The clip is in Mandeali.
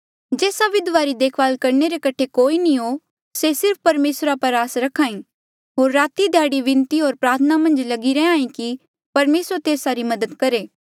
जेस्सा विधवा री देखभाल करणे रे कठे कोई नी हो से सिर्फ परमेसरा पर आस रख्हा ई होर राती ध्याड़ी विनती होर प्रार्थना मन्झ लगी रैंहीं कि परमेसर तेस्सा री मदद करहे